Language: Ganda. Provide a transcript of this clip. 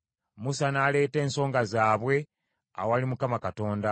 Musa n’aleeta ensonga zaabwe awali Mukama Katonda.